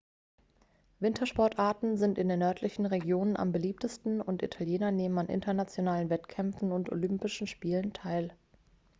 wintersportarten sind in den nördlichen regionen am beliebtesten und italiener nehmen an internationalen wettkämpfen und olympischen spielen teil